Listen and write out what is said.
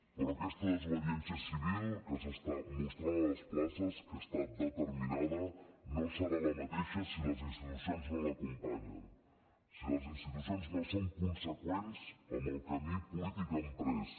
però aquesta desobediència civil que s’està mostrant a les places que està determinada no serà la mateixa si les institucions no l’acompanyen si les institucions no són conseqüents amb el camí polític emprès